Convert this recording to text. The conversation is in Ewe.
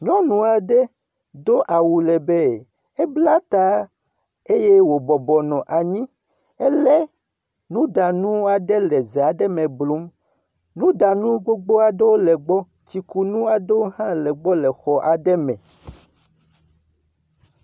Nyɔnu aɖe do awu le be ebla ta eye wobɔbɔ nɔ anyi wòle nuɖaɖa aɖe le ze aɖe me blum. Nuɖanu gbogbo aɖewo le egbɔ. Tsikunu aɖewo hã le egbɔ le xɔ aɖe me.